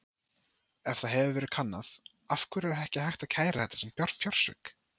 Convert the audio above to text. Ef það hefur verið kannað: Af hverju er ekki hægt að kæra þetta sem fjársvik?